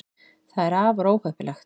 það er afar óheppilegt